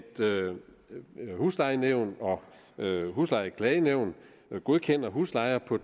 huslejenævn og huslejeklagenævn godkender huslejer på